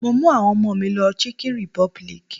Mo mú àwọn ọmọ mi lọ chicken republic.